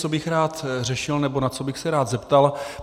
Co bych rád řešil nebo na co bych se rád zeptal.